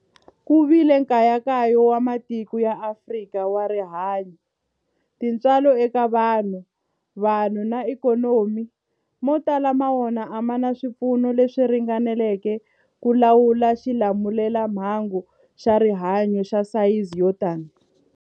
Ku vile nkayakayo wa matiko ya Afrika wa rihanyu, tintswalo eka vanhu, vanhu na ikhonomi, mo tala ma wona a ma na swipfuno leswi ringaneleke ku lawula xilamulelamhangu xa rihanyu xa sayizi yo tani.